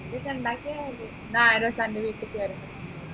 മന്തിയൊക്കെ ഉണ്ടാക്കിയ മതി എന്ന ഞാൻ ഒരു അൻറെ വീട്ടിക്ക് വരാം